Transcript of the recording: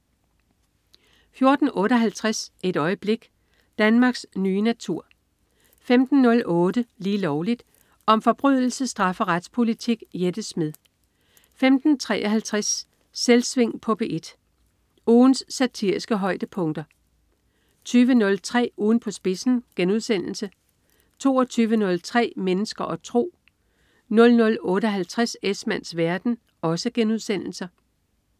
14.58 Et øjeblik. Danmarks nye natur 15.08 Lige Lovligt. Om forbrydelse, straf og retspolitik. Jette Smed 15.53 Selvsving på P1. Ugens satiriske højdepunkter 20.03 Ugen på spidsen* 22.03 Mennesker og tro* 00.58 Esmanns verden*